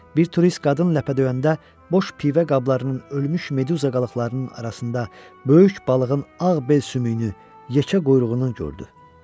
Bir turist qadın ləpə döyəndə boş pivə qablarının, ölmüş meduza qalıqlarının arasında böyük balığın ağ bel sümüyünü, yekə quyruğunu gördü.